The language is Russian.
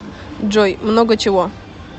джой много чего